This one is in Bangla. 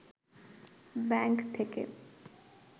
ব্যাংক থেকে